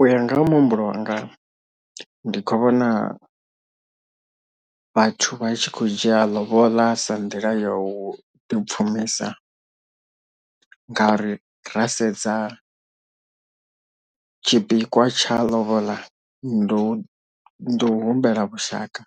U ya nga ha muhumbulo wanga ndi khou vhona vhathu vha tshi khou dzhia lobola sa nḓila ya u ḓipfumisa ngauri ra sedza tshipikwa tsha lobola ndo humbela vhushaka